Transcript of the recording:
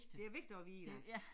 Det vigtigt at vide ja